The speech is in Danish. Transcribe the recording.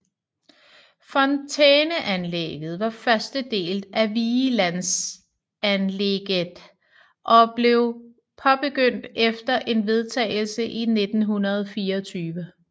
Fontæneanlægget var første del af Vigelandsanlegget og blev påbegyndt efter en vedtagelse i 1924